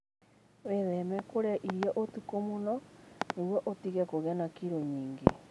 Wĩtheme kũrĩa irio ũtukũ mũno nĩguo ũtige kũgĩa na kilo nyingĩ.